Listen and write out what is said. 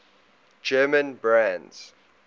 german brands